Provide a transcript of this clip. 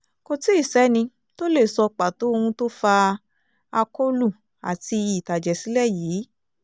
kò tí ì sẹ́ni tó lè sọ pàtó ohun tó fa akólú àti ìtàjẹ̀sílẹ̀ yìí